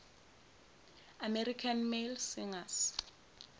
american male singers